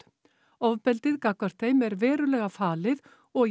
ofbeldið gagnvart þeim er verulega falið og í